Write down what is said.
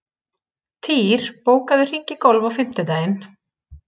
Týr, bókaðu hring í golf á fimmtudaginn.